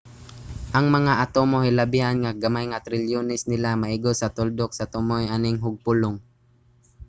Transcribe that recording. ang mga atomo hilabihan ka gamay nga trilyones nila maigo sa tuldok sa tumoy aning hugpulong